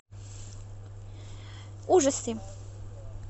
ужасы